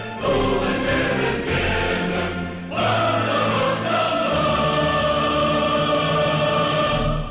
туған жерім менің қазақстаным